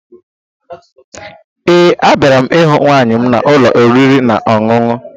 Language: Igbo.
Ee, abịara m ịhụ nwunye m n'ụlọ oriri na ọṅụṅụ